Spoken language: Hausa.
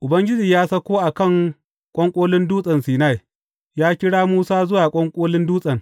Ubangiji ya sauko a kan ƙwanƙolin Dutsen Sinai, ya kira Musa zuwa ƙwanƙolin dutsen.